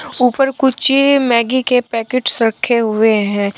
ऊपर कुछ मैगी के पैकेट्स रखे हुए हैं।